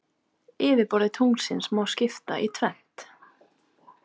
Yfirborði tunglsins má skipta í tvennt.